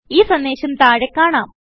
ഈ സന്ദേശം താഴെ കാണാം